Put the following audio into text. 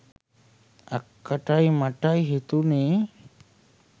අක්කටයි මටයි හිතුනේ